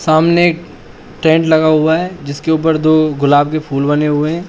सामने टेंट लगा हुआ है जिसके उपर दो गुलाब के फुल बने हुए है।